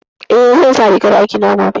Eh, zan sa rigar aikina gobe